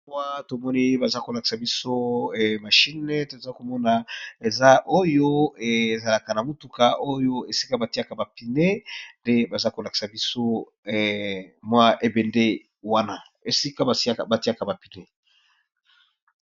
Awa bazali kolakisa biso machine eza oyo ezalaka na mutuka oyo esika batiya ba pneus ndebakolakisa biso libende oyo.